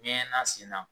Ɲɛ na sen na